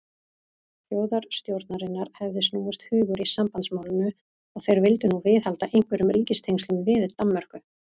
Þjóðstjórnarinnar hefði snúist hugur í sambandsmálinu, og þeir vildu nú viðhalda einhverjum ríkistengslum við Danmörku.